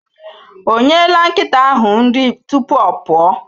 Ọ nyela nkịta ahụ nri tupu ọ pụọ?